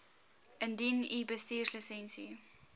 indien u bestuurslisensie